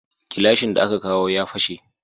Gilashin da aka kawo ya fashe